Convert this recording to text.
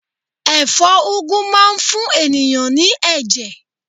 Èfó ugwu máa n fún ènìyãn ní èjè